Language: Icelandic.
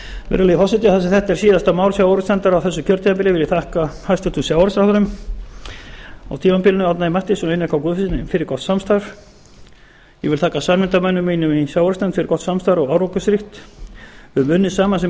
virðulegi forseti þar sem þetta er síðasta mál sjávarútvegsnefndar á þessu kjörtímabili vil ég þakka hæstvirtum sjávarútvegsráðherrum á tímabilinu árna m mathiesen og einari k guðfinnssyni fyrir gott samstarf ég vil þakka samnefndarmönnum mínum í sjávarútvegsnefnd fyrir gott samstarf og árangursríkt við höfum unnið saman sem